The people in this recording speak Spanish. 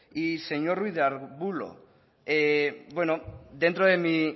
y señor ruiz de arbulo bueno dentro de mi